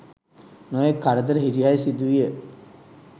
නොයෙක් කරදර හිරිහැර සිදුවිය.